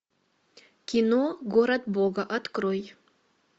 кино город бога открой